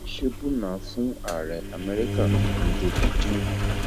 ṣèbùnà fún ààrẹ amẹríkà tuntun joe bidden